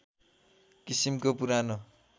किसिमको पुरानो